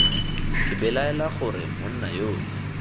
ke belaela gore monna yole